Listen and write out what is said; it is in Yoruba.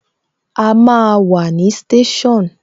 A máa wà ní station